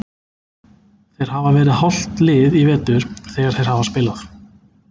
Þeir hafa verið hálft lið í vetur þegar þeir hafa spilað.